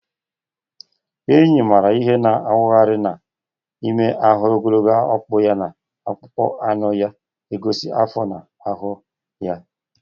Enyi maara ihe na-awagharị n’ime ọhịa, ogologo ọkpụ ya na akpụkpọ anụ ya na-egosi afọ na ahụmahụ ya.